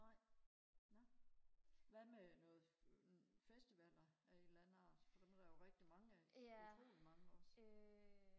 nej ja hvad med noget festivaller af en eller anden art for dem er der jo rigtig mange af utrolig mange også